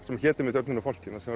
sem hét einmitt Örninn og fálkinn þar